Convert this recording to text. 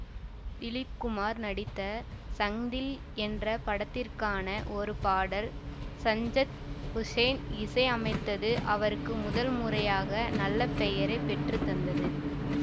திலிப் குமார் நடித்த சங்தில் என்ற படத்திற்கான ஒரு பாடல் சஞ்ஜத் ஹுசைன் இசை அமைத்தது அவருக்கு முதல் முறையாக நல்ல பெயரை பெற்றுத்தந்தது